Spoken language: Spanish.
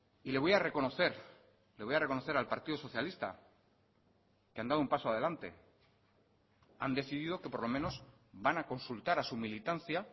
y le voy a reconocer le voy a reconocer al partido socialista que han dado un paso adelante han decidido que por lo menos van a consultar a su militancia